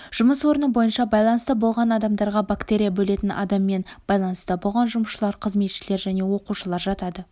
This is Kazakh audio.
жұмыс орны бойынша байланыста болған адамдарға бактерия бөлетін адаммен байланыста болған жұмысшылар қызметшілер және оқушылар жатады